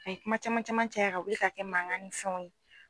A ye kuma caman caman caya ka wuli k'a kɛ mankan ni fɛnw ye